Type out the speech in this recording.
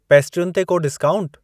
पेस्ट्रियुनि ते को डिस्काऊंट?